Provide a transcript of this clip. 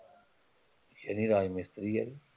ਸ਼ਨੀ ਰਾਜ ਮਿਸਤਰੀ ਹੈ